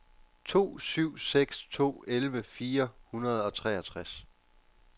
to syv seks to elleve fire hundrede og treogtres